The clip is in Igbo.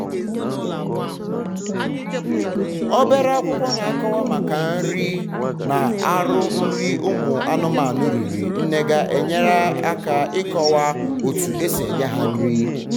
obere akwụkwọ na akọwa maka nri na arụ nri ụmụ anụmanụ riri nnega enyere aka ikọwa otu esi enye ha nri